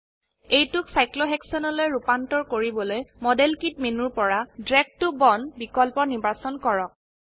এইটোক সাইক্লোহেক্সেনলৈ ৰুপান্তৰ কৰিবলৈ মডেল কিট মেনু পৰা ড্ৰাগ ত বন্দ বিকল্প নিৰ্বাচন কৰক